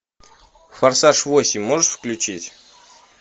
форсаж восемь можешь включить